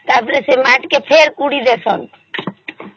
ତା ପରେ ସେ ମତିକେ ଫେର ପୋଡି ଡେଇଁସନ